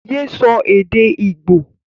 yé so èdè igbo!